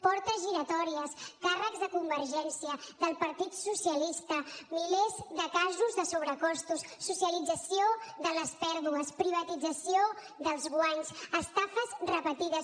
portes giratòries càrrecs de convergència del partit socialista milers de casos de sobrecostos socialització de les pèrdues privatització dels guanys estafes repetides